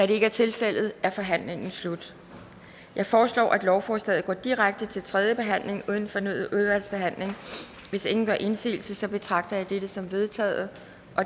det ikke er tilfældet er forhandlingen slut jeg foreslår at lovforslaget går direkte til tredje behandling uden fornyet udvalgsbehandling hvis ingen gør indsigelse betragter jeg dette som vedtaget